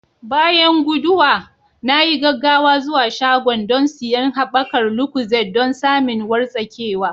Bayan guduwa, na yi gaggawa zuwa shagon don siyan haɓakar lucozade don samin wartsakewa.